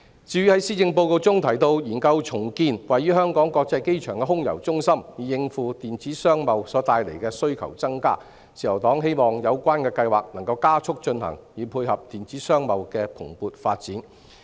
至於在施政報告中提到研究重建位於香港國際機場的空郵中心，以應付電子商貿所帶來的需求增加，自由黨希望有關計劃能夠加速進行，以配合電子商貿的蓬勃發展。